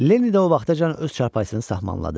Leni də o vaxtacan öz çarpayısını saxmanladı.